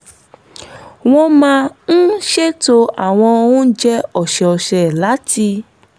wọ́n máa ń ṣètò àwọn oúnjẹ ọ̀sẹ̀ọ̀sẹ̀ láti